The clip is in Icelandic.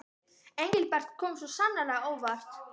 Engilbert kom svo sannarlega á óvart.